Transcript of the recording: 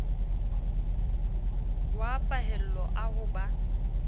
wa pahello a ho ba